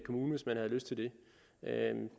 kommune hvis man har lyst til det